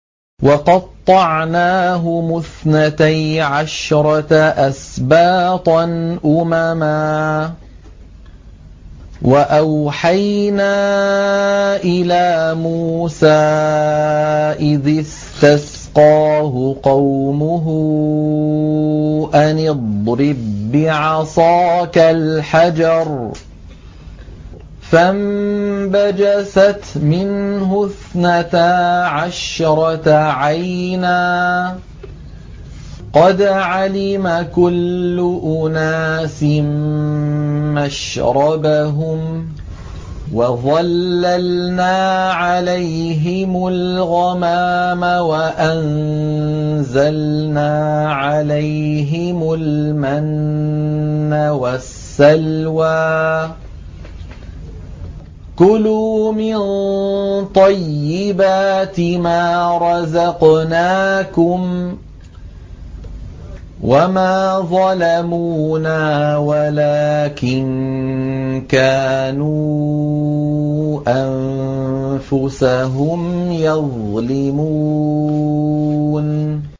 وَقَطَّعْنَاهُمُ اثْنَتَيْ عَشْرَةَ أَسْبَاطًا أُمَمًا ۚ وَأَوْحَيْنَا إِلَىٰ مُوسَىٰ إِذِ اسْتَسْقَاهُ قَوْمُهُ أَنِ اضْرِب بِّعَصَاكَ الْحَجَرَ ۖ فَانبَجَسَتْ مِنْهُ اثْنَتَا عَشْرَةَ عَيْنًا ۖ قَدْ عَلِمَ كُلُّ أُنَاسٍ مَّشْرَبَهُمْ ۚ وَظَلَّلْنَا عَلَيْهِمُ الْغَمَامَ وَأَنزَلْنَا عَلَيْهِمُ الْمَنَّ وَالسَّلْوَىٰ ۖ كُلُوا مِن طَيِّبَاتِ مَا رَزَقْنَاكُمْ ۚ وَمَا ظَلَمُونَا وَلَٰكِن كَانُوا أَنفُسَهُمْ يَظْلِمُونَ